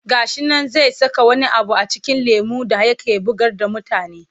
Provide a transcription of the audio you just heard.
Ga shi nan zai saka wani abu a cikin lemon da yake bugar da mutane.